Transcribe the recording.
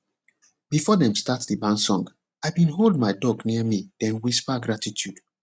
before dem start the barn song i been hold my duck near me den whisper gratitude